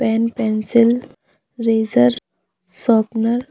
pen pencil eraser sharpener --